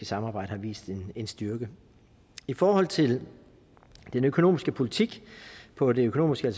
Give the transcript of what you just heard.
samarbejde har vist en styrke i forhold til den økonomiske politik på det økonomiske